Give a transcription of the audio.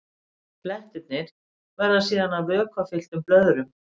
Blettirnir verða síðan vökvafylltum blöðrum.